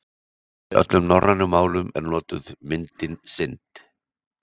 Í öllum norrænum málum er notuð myndin synd.